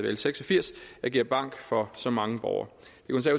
l seks og firs agere bank for så mange borgere